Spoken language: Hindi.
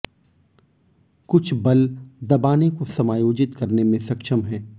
कुछ बल दबाने को समायोजित करने में सक्षम हैं